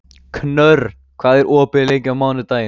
Knörr, hvað er opið lengi á mánudaginn?